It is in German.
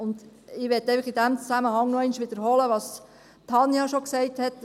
Und ich möchte in diesem Zusammenhang einfach noch einmal wiederholen, was Tanja Bauer schon gesagt hat: